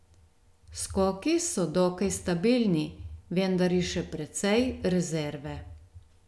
Skoki so dokaj stabilni, vendar je še precej rezerve.